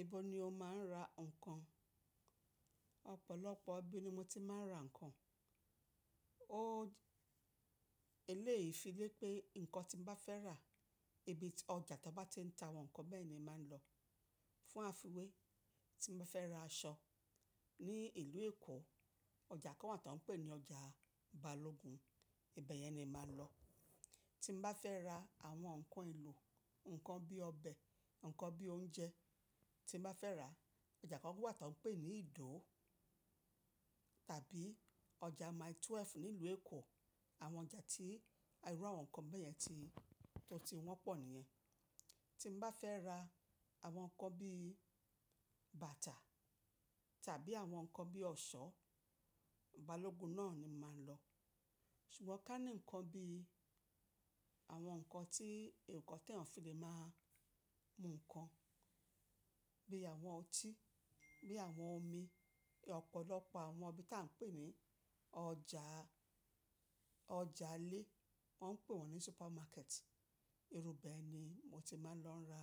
Ibo ni o máa ń ra ǹkan? Ọ̀pọ̀lọpọ̀ ibi ni mo ti máa ń ra ǹkan. O-- eléèyí fi lé pé nǹkan tí mo bá fẹ́ rà, ibi ọjà tó bá ti ń ta àwọn ǹkan bẹ́ẹ̀ ni màá lọ. Fún àfiwé, tí mo bá fẹ́ ra aṣọ ní ìlú Èkó, ọjà kan wà tó ń pè ní ọjà Balogun, ibẹ̀ yẹn ni màá lọ. Tí mo bá fẹ́ ra àwọn ǹkan ìlò, ǹkan bí ọbẹ̀, ǹkan bí oúnjẹ tí mo bá fẹ́ rà, ọjà kan wà tó ń pè ní Idó tàbí ọjà Mile 12 nílùú Èkó. Àwọn ọjà tí irú àwọn ǹkan bẹ́ẹ̀ yẹn ti, tó ti wọ́n pọ̀ níyẹn. Tí mo bá fẹ́ ra àwọn ǹkan bí bàtà tàbí àwọn ǹkan bí ọ̀ṣọ́, Balogun náà ni màá lọ. Ṣùgbọ́n ká ní ǹkan bí àwọn ǹkan tí eyàn fi le máa mú ǹkan, bí àwọn ọtí, bí àwọn omi, ọ̀pọ̀lọpọ̀ àwọn ibi tí à ń pè ní ọjà, ọjà lé, wọ́n ń pè wọ́n ní supermarket, irú bẹ́ẹ̀ ni mo ti máa ń lọ ra